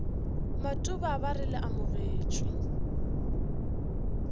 matuba ba re le amogetšwe